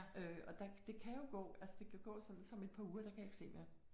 Øh og der det kan jo gå altså det kan gå sådan som et par uger der kan jeg ikke se mere